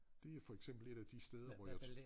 Det for eksempel et af de steder hvor jeg